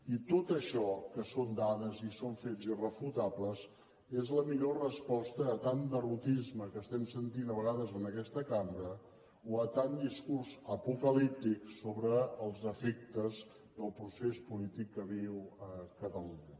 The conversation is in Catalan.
i tot això que són dades i són fets irrefutables és la millor resposta a tant derrotisme que estem sentint de vegades en aquesta cambra o a tant discurs apocalíptic sobre els efectes del procés polític que viu catalunya